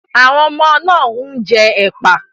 Àwọn ọmọ náà ń jẹ ẹ́pà.